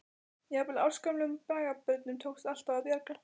Jafnvel ársgömlum braggabörnum tókst alltaf að bjarga.